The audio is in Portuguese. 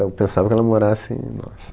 Eu pensava que ela morasse em... Nossa.